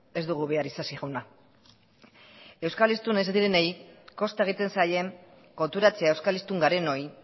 ez dugu behar isasi jauna euskal hiztunak ez direnei kosta egiten zaie konturatzea euskal hiztun garenoi